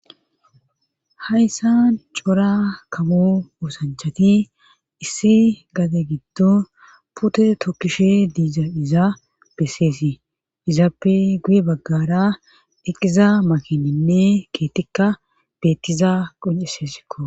Hayssa cora kabu oosanchati issi gate giddo pute tokkishe diizaphiza besseesi izaappe guye baggara eqqiza makininne keetikka bettiza qoncesesikko